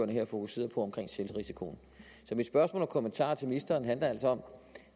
her fokuserede på omkring selvrisikoen så mit spørgsmål og kommentarer til ministeren handler altså om